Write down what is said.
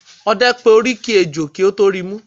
Ọdẹ pé oríkì ẹjọ́ kí ó tọ ríi mú.